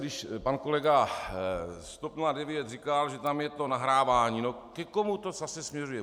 Když pan kolega z TOP 09 říkal, že tam je to nahrávání - no ke komu to zase směřuje?